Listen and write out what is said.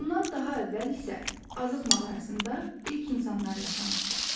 Bundan daha əvvəl isə Azıq mağarasında ilk insanlar yaşamışdılar.